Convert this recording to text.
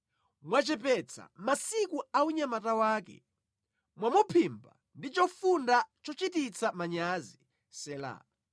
Mwachepetsa masiku a unyamata wake; mwamuphimba ndi chofunda chochititsa manyazi. Sela